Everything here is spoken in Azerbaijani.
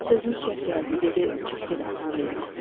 Sözümüz çəp gəldi, dedi çıx get atanın evinə.